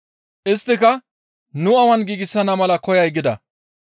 Isttika, «Nu awan giigsana mala koyay?» gida.